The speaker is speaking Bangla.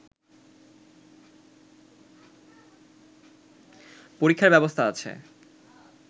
পরীক্ষার ব্যবস্থা আছে